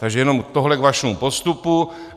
Takže jenom tohle k vašemu postupu.